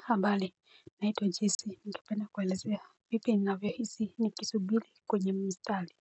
Ka mbali naitwa jesi ningependa kuelezea vipi ninavyo hisi ni kisubili kwenye mstali.